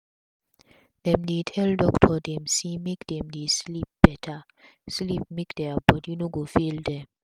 dem dey tell doctor dem say make dem dey sleep beta sleep make dia bodi no go fail dem